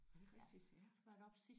Er det rigtigt?